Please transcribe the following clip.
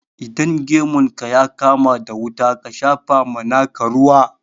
Idan gemun ka ya kama da wuta, ka shapa ma naka ruwa.